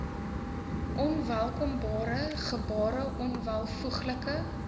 onwelkombare gebare onwelvoeglike